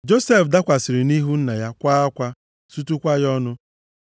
Josef dakwasịrị nʼihu nna ya, kwaa akwa, sutukwa ya ọnụ.